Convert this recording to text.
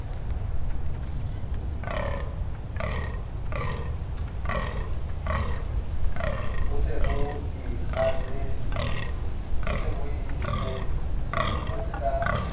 bo se bo ikakgetse ka